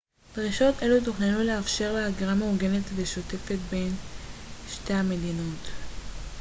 דרישות אלו תוכננו לאפשר הגירה מאורגנת ושוטפת בין שתי המדינות